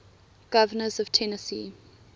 governors of tennessee